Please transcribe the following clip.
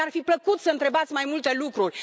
Mi ar fi plăcut să întrebați mai multe lucruri.